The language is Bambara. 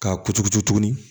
K'a kuturutu tuguni